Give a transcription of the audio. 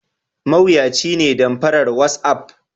Mawuyaci ne damfaran watsapp.